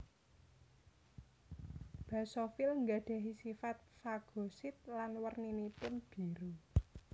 Basofil nggadhahi sipat fagosit lan werninipun biru